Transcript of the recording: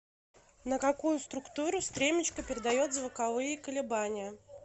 на какую структуру стремечко передает звуковые колебания